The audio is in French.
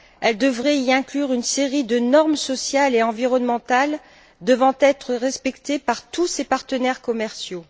Elle devrait y inclure une série de normes sociales et environnementales devant être respectées par tous ses partenaires commerciaux.